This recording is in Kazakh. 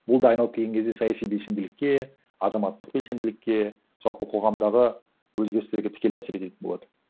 ол да айналып келген кезде саяси белсенділікке азаматтық белсенділікке жалпы қоғамдағы өзгерістерге тікелей әсер ететін болады